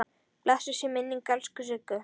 Blessuð sé minning elsku Siggu.